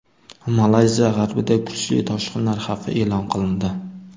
Malayziya g‘arbida kuchli toshqinlar xavfi e’lon qilindi.